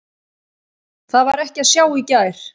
Það var ekki að sjá í gær.